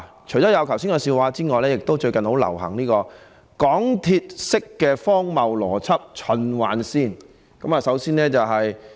除了剛才說的笑話外，最近亦很流行港鐵式的荒謬邏輯——循環線。